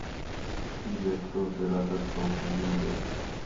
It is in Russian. сбер кто оператор столпы земли